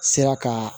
Sera ka